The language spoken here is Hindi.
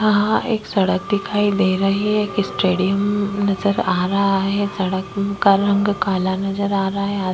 यहाँ एक सड़क दिखाई दे रही है। एक स्टैडियम नजर आ रहा है। सड़क का रंग काला नजर आ रहा है।